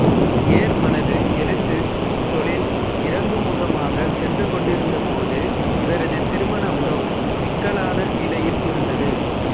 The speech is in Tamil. ஏர்மனது எழுத்துத் தொழில் இறங்குமுகமாகச் சென்று கொண்டிருந்தபோது இவரது திருமண உறவும் சிக்கலான நிலையில் இருந்தது